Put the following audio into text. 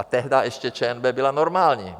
A tehdá ještě ČNB byla normální.